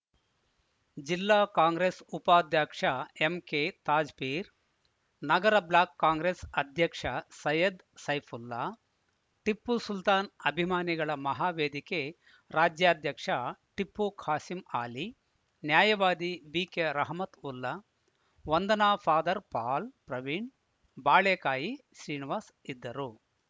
ಜಿಲ್ಲಾ ಕಾಂಗ್ರೆಸ್‌ ಉಪಾಧ್ಯಕ್ಷ ಎಂಕೆ ತಾಜ್‌ಪೀರ್‌ ನಗರ ಬ್ಲಾಕ್‌ ಕಾಂಗ್ರೆಸ್‌ ಅಧ್ಯಕ್ಷ ಸೈಯದ್‌ ಸೈಫುಲ್ಲಾ ಟಿಪ್ಪುಸುಲ್ತಾನ್‌ ಅಭಿಮಾನಿಗಳ ಮಹಾವೇದಿಕೆ ರಾಜ್ಯಾಧ್ಯಕ್ಷ ಟಿಪ್ಪು ಖಾಸಿಂಆಲಿ ನ್ಯಾಯವಾದಿ ಬಿಕೆ ರಹಮತ್‌ವುಲ್ಲಾ ವಂದನ ಫಾದರ್‌ ಪಾಲ್‌ ಪ್ರವೀಣ್‌ ಬಾಳೆಕಾಯಿ ಶ್ರೀನಿವಾಸ್‌ ಇದ್ದರು